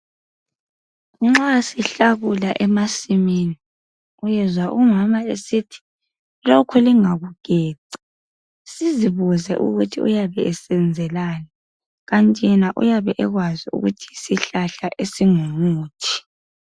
Nxa sihlakula emasimini uyezwa umama esithi,"lokhu lingakugeci", suzibuze ukuthi uyabe esenzelani. Kanti yena uyabe ekwazi ukuthi yizihlahla esingumuthi .